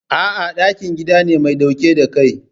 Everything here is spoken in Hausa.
A'a, ɗakin gida ne mai ɗauke da Kai.